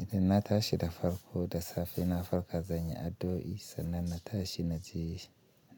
Idan na tashi da farko da safe, na farka zan yi addu'o'i, sannan na tashi na je